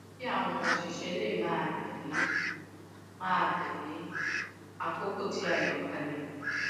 kí àwọn òṣìṣẹ lè máa tèlé máa tèlé àkókò tí a yàn kalẹ